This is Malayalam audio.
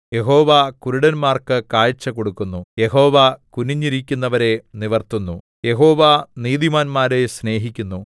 യഹോവ കുരുടന്മാർക്ക് കാഴ്ച കൊടുക്കുന്നു യഹോവ കുനിഞ്ഞിരിക്കുന്നവരെ നിവിർത്തുന്നു യഹോവ നീതിമാന്മാരെ സ്നേഹിക്കുന്നു